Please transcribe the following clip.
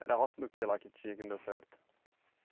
Era roça do que lá que tinha que não deu certo?